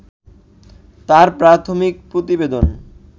তার প্রাথমিক প্রতিবেদন